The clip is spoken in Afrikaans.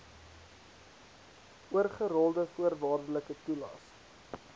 oorgerolde voorwaardelike toelaes